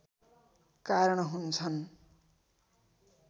कारण हुन्छन्